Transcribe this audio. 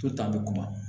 To ta bɛ kuma